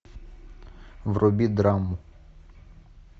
вруби драму